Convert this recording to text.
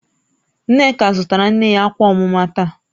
Nneka zụtara nne ya akwa omuma taa